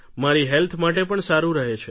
મારી હેલ્થ માટે પણ સારું રહે છે